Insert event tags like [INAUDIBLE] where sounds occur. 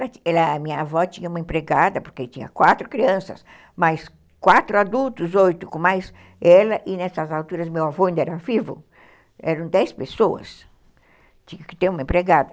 [UNINTELLIGIBLE] A minha avó tinha uma empregada, porque tinha quatro crianças, mais quatro adultos, oito, com mais ela, e nessas alturas meu avô ainda era vivo, eram dez pessoas, tinha que ter uma empregada.